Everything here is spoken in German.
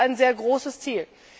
Das ist ein sehr großes Ziel.